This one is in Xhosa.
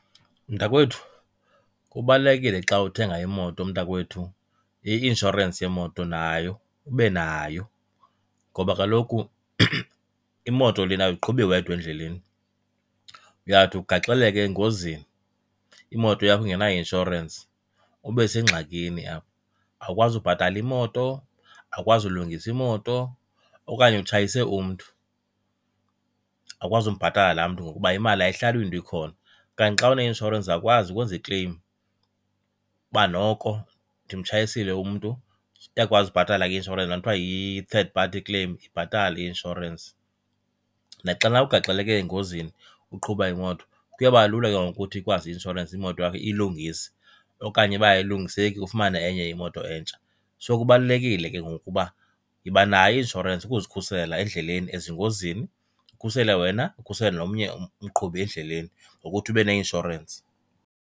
Mntakwethu, kubalulekile xa uthenga imoto mntakwethu i-inshorensi yemoto nayo ube nayo ngoba kaloku imoto lena awuyiqhubi wedwa endleleni, uyawuthi ugaxeleke engozini imoto yakho ingena-insurance ube sengxakini apha. Awukwazi ubhatala imoto, awukwazi ulungisa imoto, okanye utshayise umntu awukwazi umbhatala laa mntu ngokuba imali ayihlali iyinto ekhona. Kanti xa uneinshorensi uzawukwazi ukwenza ikleyim uba noko ndimtshayisile umntu iyakwazi ubhatala ke inshorensi, laa nto kuthwa yi-third party claim, ibhatale i-inshorensi. Naxana ugaxeleke engozini uqhuba imoto kuyobalula ke ngoku ukuthi ikwazi i-inshorensi imoto yakho iyilungise okanye uba ayilungiseki ufumane enye imoto entsha. So, kubalulekile ke ngoku uba yibanayo i-inshorensi ukuzikhusela endleleni ezingozini, ukhusele wena ukhusele nomnye umqhubi endleleni ngokuthi ube neinshorensi.